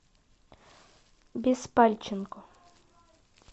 беспальченко